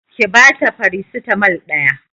Ki bata farasitamol ɗaya